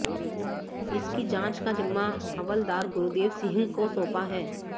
इसकी जांच का जिम्मा हवलदार गुरदेव सिंह को सौंपा है